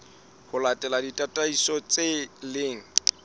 ho latela ditataiso tse leng